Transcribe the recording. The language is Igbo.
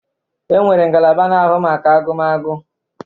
E nwere ngalaba na-ahụ maka agụmagụ.